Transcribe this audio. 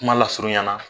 Kuma lasurunya na